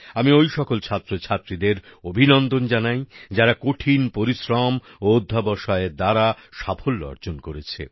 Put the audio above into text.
আমি ওই সকল ছাত্রছাত্রীদের অভিনন্দন জানাই যারা কঠিন পরিশ্রম ও অধ্যবসায়ের দ্বারা সাফল্য অর্জন করেছে